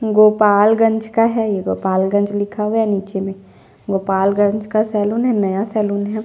गोपालगंज का है ये गोपालगंज लिखा हुआ है निचे में गोपालगंज का सैलून है नया सलून हैं।